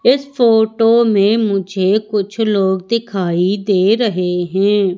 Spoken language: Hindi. इस फोटो में मुझे कुछ लोग दिखाई दे रहे हैं।